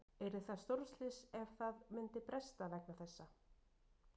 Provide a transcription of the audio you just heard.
Yrði það stórslys ef að það myndi bresta vegna þessa?